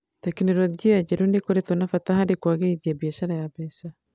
Tekinoronjĩ njerũ nĩikoretwo na bata harĩ kwagĩrithia biacara ya mbeca.